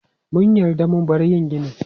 Mun yarda mu bar yin ginin.